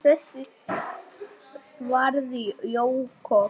Hættu þessu þvaðri, Jakob.